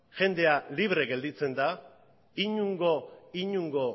jendea libre geratzen da inongo